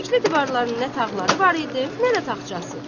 Çirkli divarların nə tağları var idi, nə də taxçası.